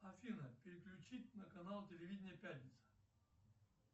афина переключить на канал телевидения пятница